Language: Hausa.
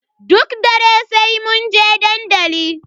Duk dare sai munje dandali.